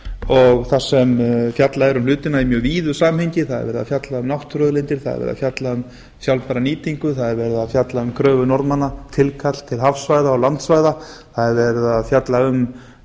og þar sem fjallað er um hlutina í mjög víðu samhengi það er verið að fjalla um náttúruauðlindir það er verið að fjalla um sjálfbæra nýtingu það er verið að fjalla um kröfu norðmanna tilkall til hafsvæða og landsvæða það er verið að fjalla um